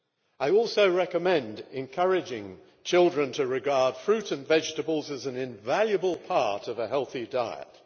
I also recommend encouraging children to regard fruit and vegetables as an invaluable part of a healthy diet.